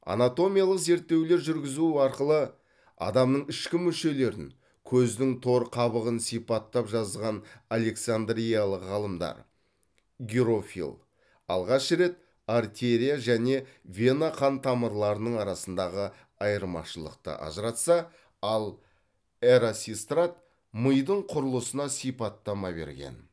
анатомиялық зерттеулер жүргізу арқылы адамның ішкі мүшелерін көздің тор қабығын сипаттап жазған александриялық ғалымдар герофил алғаш рет артерия және вена қан тамырларының арасындағы айырмашылықты ажыратса ал эрасистрат мидың құрылысына сипаттама берген